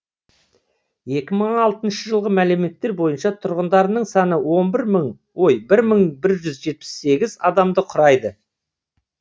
екі мың алтыншы жылғы мәліметтер бойынша тұрғындарының саны бір мың бір жүз жетпіс сегіз адамды құрайды